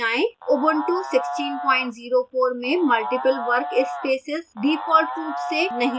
ubuntu 1604 में multiple workspaces default रूप से नहीं दिखाई देता है